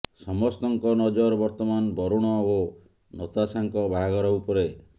ସମସ୍ତଙ୍କ ନଜର ବର୍ତ୍ତମାନ ବରୁଣ ଓ ନତାଶାଙ୍କ ବାହାଘର ଉପରେ